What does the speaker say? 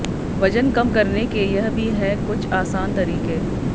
वजन कम करने के यह भी है कुछ आसान तरीके